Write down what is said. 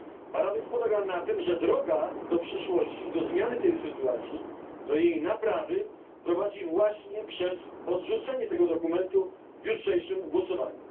Paradoks polega na tym, że droga do przyszłości i do zmiany tej sytuacji, do jej naprawy prowadzi właśnie przez odrzucenie tego dokumentu w jutrzejszym głosowaniu.